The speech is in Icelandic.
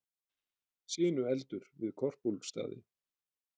Sinueldur við Korpúlfsstaði